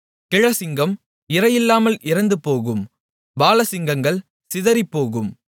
கிழச்சிங்கம் இரையில்லாமையால் இறந்துபோகும் பாலசிங்கங்கள் சிதறிப்போகும்